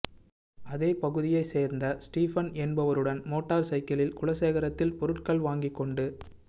அதே பகுதியைச் சோ்ந்த ஸ்டீபன் என்பவருடன் மோட்டாா் சைக்கிளில் குலசேகரத்தில் பொருள்கள் வாங்கி கொண்டு